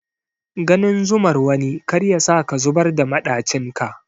Ganin zumar wani kar yasa ka zubar da maɗacin ka.